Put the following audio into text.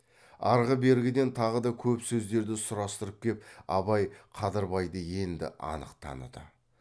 арғы бергіден тағы да көп сөздерді сұрастырып кеп абай қадырбайды енді анық таныды